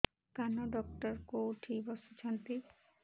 କାନ ଡକ୍ଟର କୋଉଠି ବସୁଛନ୍ତି